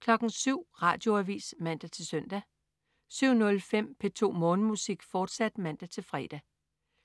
07.00 Radioavis (man-søn) 07.05 P2 Morgenmusik, fortsat (man-fre)